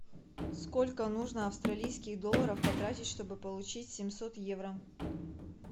сколько нужно австралийских долларов потратить чтобы получить семьсот евро